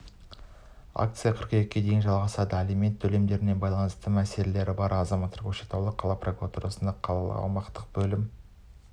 акция қыркүйекке дейін жалғасады алимент төлемдеріне байланысты мәселелері бар азаматтар көкшетау қалалық прокуратурасына қалалық аумақтық бөлім